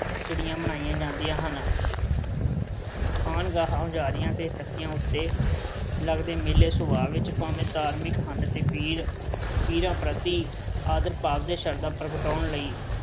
ਚਿੜੀਆ ਬਣਾਈਆਂ ਜਾਂਦੀਆਂ ਹਨ। ਖਾਨਗਾਹਾਂ, ਹੁਜਾਰੀਆਂ ਤੇ ਤਕੀਆ ਉੱਤੇ ਲੱਗਦੇ ਮੇਲੇ ਸੁਭਾਅ ਵਿੱਚ ਭਾਵੇਂ ਧਾਰਮਿਕ ਹਨ ਤੇ ਪੀਰ, ਪੀਰਾਂ ਪ੍ਰਤੀ ਆਦਰਭਾਵ ਤੇ ਸ਼ਰਧਾ ਪ੍ਰਗਟਾਉਣ ਲਈ